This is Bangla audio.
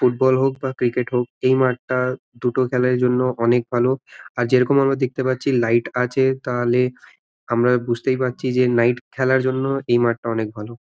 ফুটবল হোক ভা ক্রিকেট হল এই মাঠ তা দুটোর খালারেই জন্য অনেক ভালো । যেইরকম আমরা দেখতে পারছি লাইট আছে তাহলে আমরা বুঝতেই পারছি যে নাইট খেলার জন্য এই মাঠটা অনেক ভালো ।